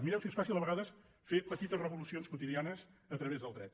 mireu si és fàcil a vegades fer petites revolucions quotidianes a través del dret